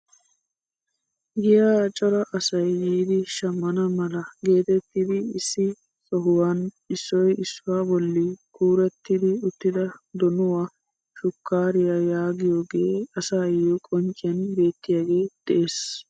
Giyaa cora asay yiidi shammana mala geetettidi issi sohuwaan issoy issuwaa bolli kuurettidi uttida donuwaa, shukkaariyaa yaagiyooge asayoo qoncciyaan beettiyaagee de'ees.